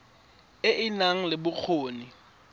e e nang le bokgoni